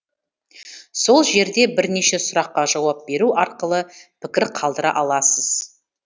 сол жерде бірнеше сұраққа жауап беру арқылы пікір қалдыра аласыз